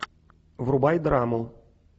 врубай драму